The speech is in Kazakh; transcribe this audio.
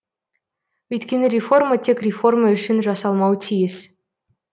өйткені реформа тек реформа үшін жасалмауы тиіс